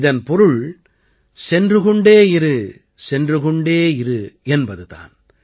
இதன் பொருள் சென்று கொண்டே இரு சென்று கொண்டே இரு என்பது தான்